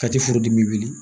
Kati furudimi wuli